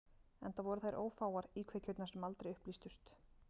Enda voru þær ófáar, íkveikjurnar sem aldrei upplýstust.